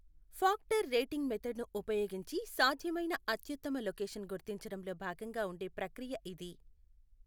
Factor rating method ని ఉపయోగించి సాధ్యమైన అత్యుత్తమ లొకేషన్ గుర్తించడంలో భాగంగా ఉండే ప్రక్రియ ఇది.